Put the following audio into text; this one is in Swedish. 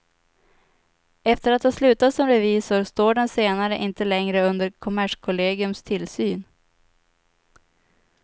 Efter att ha slutat som revisor står den senare inte längre under kommerskollegiums tillsyn.